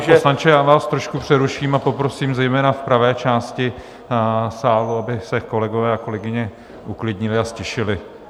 Pane poslanče, já vás trošku přeruším a poprosím zejména v pravé části sálu, aby se kolegové a kolegyně uklidnili a ztišili.